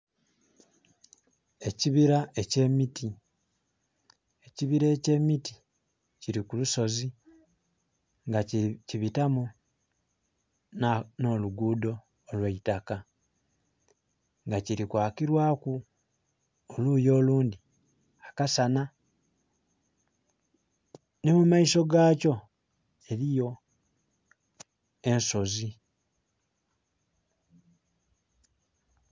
Ekibira ekye miti, ekibira ekye miti kili ku lusozi nga ki bitamu no lugudho olweitaka nga kili kwakilwaku oluyi olundi akasana ni mu maiso ga kyo eriyo ensozi.